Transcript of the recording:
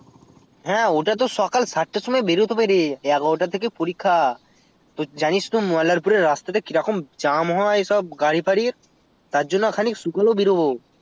হ্যাঁ ওটা তো সকাল সাত টার সময় বেরোতে হবে রে এগারো টা থেকে পরীক্ষা তো জানিস তো মল্লারপুর এর রাস্তাতে কি রকম jam হয় সব গাড়ি ফাঁড়ির তারজন্যে খানিক শুকালো বেরোবো